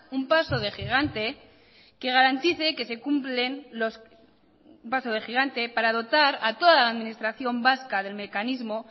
un paso de gigante para dotar a toda la administración vasca del mecanismo